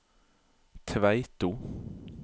Tveito